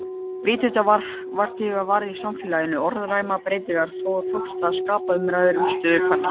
Vitundarvakning varð í samfélaginu, orðræðan breyttist og það tókst að skapa umræðu um stöðu kvenna.